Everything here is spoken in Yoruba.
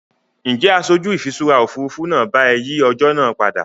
Ǹjẹ́ aṣojú ìfiṣúra Òfurufú náà bá ẹ yìí ọjọ́ náà padà?